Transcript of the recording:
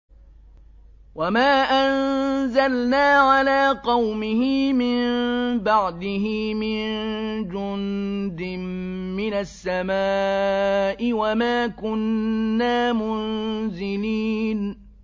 ۞ وَمَا أَنزَلْنَا عَلَىٰ قَوْمِهِ مِن بَعْدِهِ مِن جُندٍ مِّنَ السَّمَاءِ وَمَا كُنَّا مُنزِلِينَ